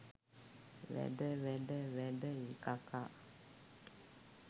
වැඩ ! වැඩ ! වැඩ ! කකා